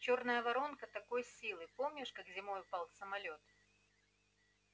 чёрная воронка такой силы помнишь как зимой упал самолёт